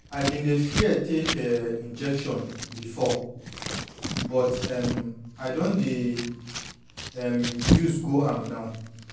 i been dey fear take um injection before but um i don dey um use go am now